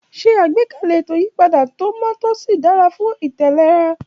Ṣe àgbékalẹ̀ ètò ìyípadà tó mọ́ tó sì dára fún ìtẹ̀léra.